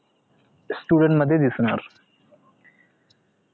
त ते student मध्ये दिसणार